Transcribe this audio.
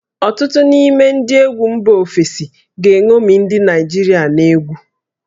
Ọtụtụ n'ime ndị egwu mba ofesi ga-eṅomi ndị Naịjirịa n'egwu